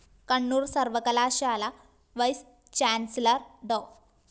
കണ്ണൂര്‍ സര്‍വ്വകലാശാല vice chancellor‍ ഡോ